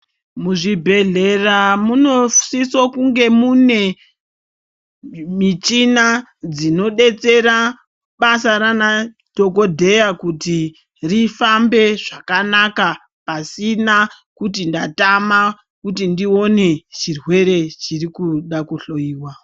Muzvibhedhlera munosiso kunge mune michina dzinodetsera basa raana dhokodheya kuti rifambe zvakanaka, pasina kuti ndatama kuti ndione chirwere chirikuda kuhloiwa.